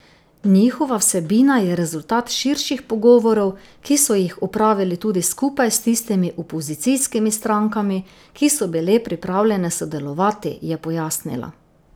Njihova vsebina je rezultat širših pogovorov, ki so jih opravili tudi skupaj s tistimi opozicijskimi strankami, ki so bile pripravljene sodelovati, je pojasnila.